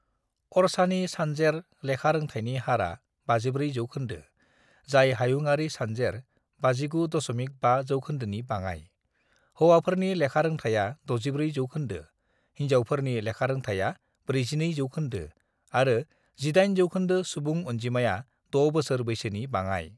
"अरछानि सानजेर लेखारोंथायनि हारआ 54 जौखोन्दो, जाय हायुंआरि सानजेर 59.5 जौखोन्दोनि बाङाइ: हौवाफोरनि लेखारोंथाया 64 जौखोन्दो, हिनजावफोरनि लेखारोंथाया 42 जौखोन्दो, आरो 18 जौखोन्दो सुबुं अनजिमाया 6 बोसोर बैसोनि बाङाइ।"